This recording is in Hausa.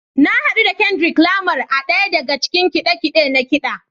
Na hadu da Kendrick Lamar a ɗaya daga cikin kide-kide na ƙida.